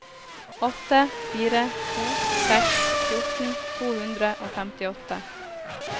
åtte fire to seks fjorten to hundre og femtiåtte